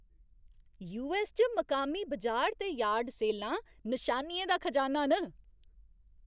US च मकामी बजार ते यार्ड सेलां नशानियें दा खजाना न ।